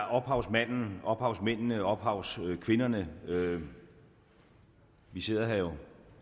ophavsmanden ophavsmændene ophavskvinderne vi sidder her jo